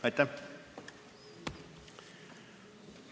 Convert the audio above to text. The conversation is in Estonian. Aitäh!